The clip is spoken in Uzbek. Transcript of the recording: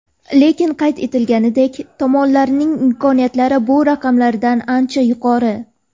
Lekin, qayd etilganidek, tomonlarning imkoniyatlari bu raqamlardan ancha yuqori.